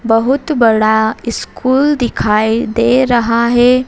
बहुत बड़ा स्कूल दिखाई दे रहा है।